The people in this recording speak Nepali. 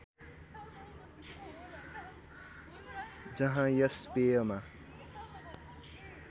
जहाँ यस पेयमा